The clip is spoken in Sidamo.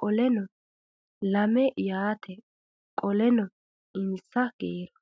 qoleno lame yaate qoleno insa kiiro